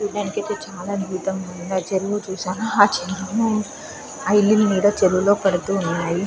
చూడ్డానికి అయితే చానా అద్భుతం గా ఉంది. ఆ చెరువు చూసారా ఆ చెరువు లో ఇల్లుల నీడ చెరువులో పడుతున్నాయి.